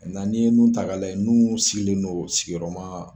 Na ni ye mun ta ka lajɛ n'u sigilen non sigiyɔrɔma